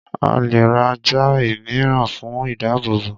a lè ra ajá ìmíràn fún ìdábòbò